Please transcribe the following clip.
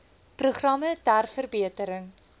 programme ter verbetering